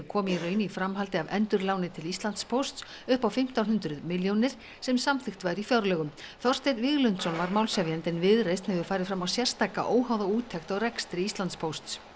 kom í raun í framhaldi af endurláni til Íslandspósts upp á fimmtán hundruð milljónir sem samþykkt var í fjárlögum Þorsteinn Víglundsson var málshefjandi en Viðreisn hefur farið fram á sérstaka óháða úttekt á rekstri Íslandspósts